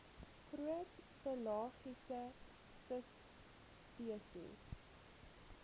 groot pelagiese visspesies